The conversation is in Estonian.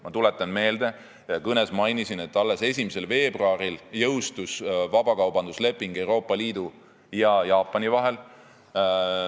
Ma tuletan meelde – ma kõnes seda mainisin –, et alles 1. veebruaril jõustus vabakaubandusleping Euroopa Liidu ja Jaapani vahel.